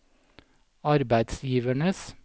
arbeidsgivernes